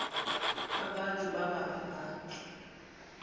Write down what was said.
abantu baba ngabantu